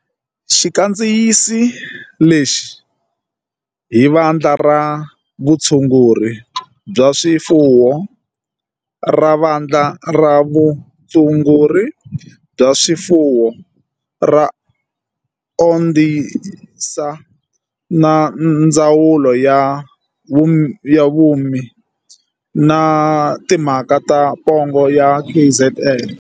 Xi kandzisi lexi hi Vandla ra Vutshunguri bya swifuwo ra Vandla ra Vutshunguri bya swifuwo ra Onderstepoort na Ndzawulo ya Vurimi na Timhaka ta pongo ya KZN.